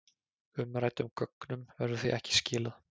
Umræddum gögnum verður því ekki skilað